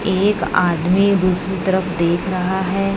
एक आदमी दूसरी तरफ देख रहा है।